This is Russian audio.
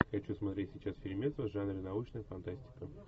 хочу смотреть сейчас фильмец в жанре научная фантастика